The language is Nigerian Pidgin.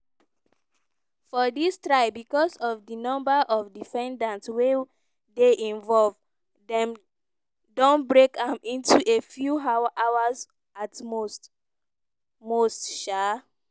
for dis trial becos of di number of defendants wey dey involved dem don break am into a few hours at most most um